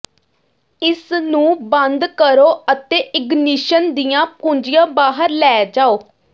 ਇਸ ਨੂੰ ਬੰਦ ਕਰੋ ਅਤੇ ਇਗਨੀਸ਼ਨ ਦੀਆਂ ਕੁੰਜੀਆਂ ਬਾਹਰ ਲੈ ਜਾਓ